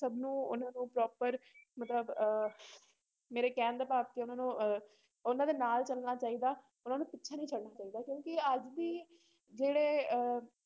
ਸਭ ਨੂੰ ਉਹਨਾਂ ਨੂੰ proper ਮਤਲਬ ਅਹ ਮੇਰੇ ਕਹਿਣ ਦਾ ਭਾਵ ਕਿ ਉਹਨਾਂ ਨੂੰ ਅਹ ਉਹਨਾਂ ਦੇ ਨਾਲ ਚੱਲਣਾ ਚਾਹੀਦਾ ਉਹਨਾਂ ਨੂੰ ਪਿੱਛੇ ਨਹੀਂ ਛੱਡਣਾ ਚਾਹੀਦਾ ਕਿਉਂਕਿ ਅੱਜ ਦੀ ਜਿਹੜੇ ਅਹ